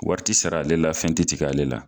Wari ti sara ale la, fɛn tɛ tigɛ ale la.